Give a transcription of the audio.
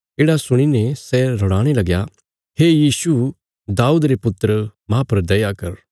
येढ़ा सुणीने सै रड़ाणे लगया हे यीशु दाऊद रे पुत्र माह पर दया कर